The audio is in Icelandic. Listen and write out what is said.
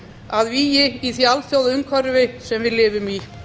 að vígi í því alþjóðaumhverfi sem við lifum í